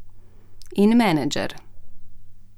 In menedžer.